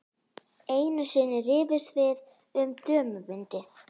Einu sinni rifumst við um dömubindi.